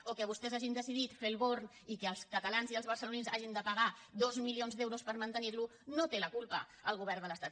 o que vostès hagin decidit fer el born i que els catalans i els barcelonins hagin de pagar dos milions d’euros per mantenir lo no en té la culpa el govern de l’estat